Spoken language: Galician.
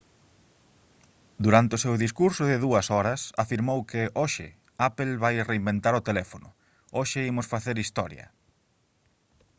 durante o seu discurso de 2 horas afirmou que hoxe apple vai reinventar o teléfono hoxe imos facer historia